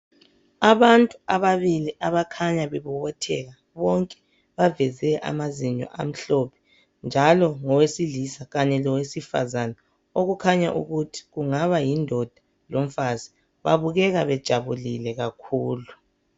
Abantu ababili abakhanya bebobotheka bonke. Baveze amazinyo amhlophe njalo ngowesilisa kanye lowesifazana, okukhanya ukuthi kungaba yindoda lomfazi. Babukeka bejabulile kakhulu.